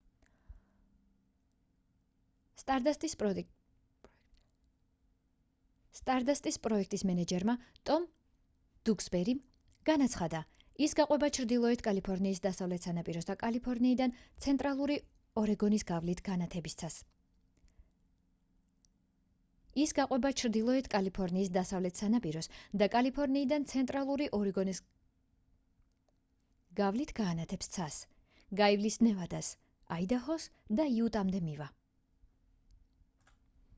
სტარდასტის პროექტის მენეჯერმა ტომ დუქსბერიმ განაცხადა ის გაყვება ჩრდილოეთ კალიფორნიის დასავლეთ სანაპიროს და კალიფორნიიდან ცენტრალური ორეგონის გავლით განათებს ცას გაივლის ნევადას აიდაჰოს და იუტამდე მივა